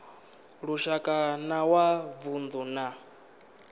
lushaka na wa vundu na